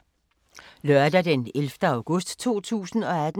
Lørdag d. 11. august 2018